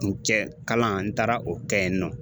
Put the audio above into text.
N cɛ kalan n taara o kɛ yen nɔ